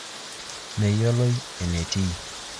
Meyioloi enetii.